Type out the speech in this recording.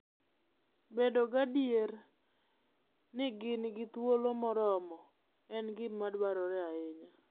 Bedo gadier ni gin gi thuolo moromo en gima dwarore ahinya.